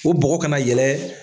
O bɔgɔ kana yɛlɛ.